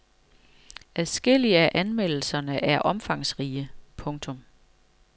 Adskillige af anmeldelserne er omfangsrige. punktum